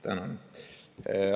Tänan!